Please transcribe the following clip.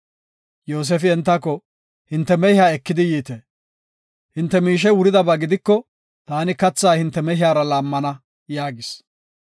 Yoosefi entako, “Hinte mehiya eki yiite. Hinte miishey wuridaba gidiko, taani katha hinte mehiyara laammana” yaagis.